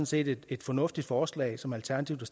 set et fornuftigt forslag som alternativet